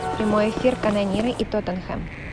прямой эфир канониры и тоттенхэм